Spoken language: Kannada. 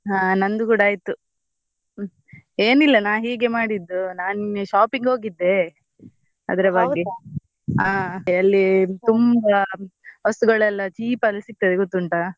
ಹಾ ನಂದು ಕೂಡ ಆಯ್ತು ಏನಿಲ್ಲ ನಾನ್ ಹೀಗೆ ಮಾಡಿದ್ದು ನಾನ್ ನಿನ್ನೆ shop ಗೆ ಹೋಗಿದ್ದೆ ಅದ್ರ ಬಗ್ಗೆ ಆಹ್ ಹಾಗೆ ಅಲ್ಲಿ ತುಂಬಾ ವಸ್ತುಗಳೆಲ್ಲ cheap ಅಲ್ಲಿ ಸಿಗ್ತದೆ ಗೊತ್ತುಂಟಾ.